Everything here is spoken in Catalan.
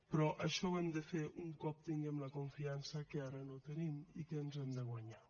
però això ho hem de fer un cop tinguem la confiança que ara no tenim i que ens hem de guanyar